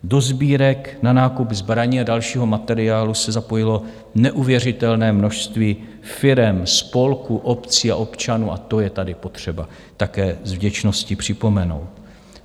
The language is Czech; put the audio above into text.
Do sbírek na nákup zbraní a dalšího materiálu se zapojilo neuvěřitelné množství firem, spolků, obcí a občanů a to je tady potřeba také s vděčností připomenout.